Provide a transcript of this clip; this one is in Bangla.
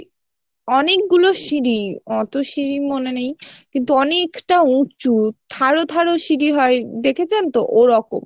প্রায় অনেকগুলো সিঁড়ি অতো সিঁড়ি মনে নেই কিন্তু অনেকটা উঁচু থার থার সিঁড়ি হয় দেখেছেন তো ও রকম।